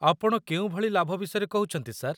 ଆପଣ କେଉଁ ଭଳି ଲାଭ ବିଷୟରେ କହୁଛନ୍ତି, ସାର୍?